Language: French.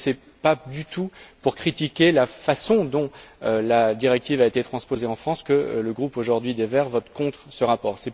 Donc, ce n'est pas du tout pour critiquer la façon dont la directive a été transposée en France que le groupe des Verts, aujourd'hui, vote contre ce rapport.